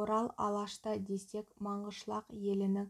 орал алашта десек манғышлақ елінің